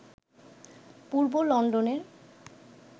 পূর্ব লন্ডনের